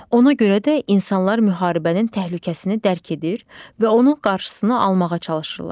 Ona görə də insanlar müharibənin təhlükəsini dərk edir və onun qarşısını almağa çalışırlar.